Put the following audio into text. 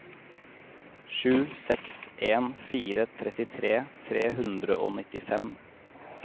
sju seks en fire trettitre tre hundre og nittifem